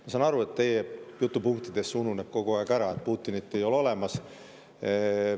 Ma saan aru, et teie jutupunktides see ununeb kogu aeg ära – Putinit ei ole olemas.